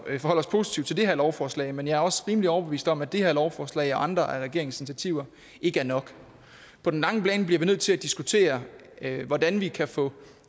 at forholde os positivt til det her lovforslag men jeg er også rimelig overbevist om at det her lovforslag og andre af regeringens initiativer ikke er nok på den lange bane bliver vi nødt til at diskutere hvordan vi kan få